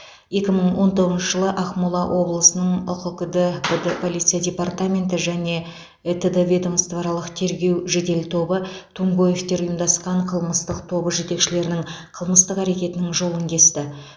екі мың он тоғызыншы жылы ақмола облысының ұқкд пд полиция департаменті және этд ведомствоаралық тергеу жедел тобы тумгоевтер ұйымдасқан қылмыстық тобы жетекшілерінің қылмыстық әрекетінің жолын кесті